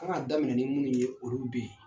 A kan ka daminɛ ni minnu ye olu bɛ yen.